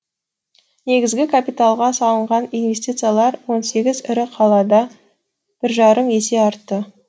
негізгі капиталға салынған инвестициялар он сегіз ірі қалада бір жарым есе артты